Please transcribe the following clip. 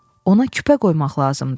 ona küpə qoymaq lazımdır.